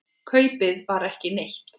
Kaupið var ekki neitt.